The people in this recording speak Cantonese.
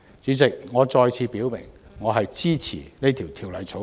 主席，我再次表明支持這項《條例草案》。